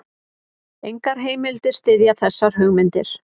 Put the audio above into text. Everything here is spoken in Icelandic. Engar heimildir styðja þessar hugmyndir.